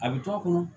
A bɛ to a kɔnɔ